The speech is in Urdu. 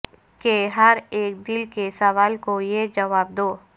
کہ ہر ایک دل کے سوال کو یہ جواب دو